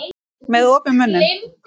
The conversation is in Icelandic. Með opinn munn.